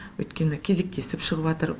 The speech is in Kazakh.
өйткені кезектесіп шығып жатыр